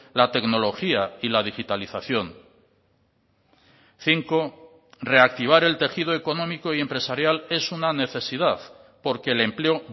la tecnología y la digitalización cinco reactivar el tejido económico y empresarial es una necesidad porque el empleo